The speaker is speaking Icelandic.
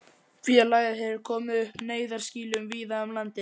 Félagið hefur komið upp neyðarskýlum víða um landið.